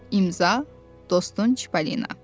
İmza, dostun Çippolina.